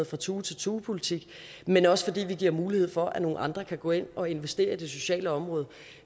fra tue til tue politik men også giver mulighed for at nogle andre kan gå ind og investere i det sociale område